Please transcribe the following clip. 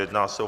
Jedná se o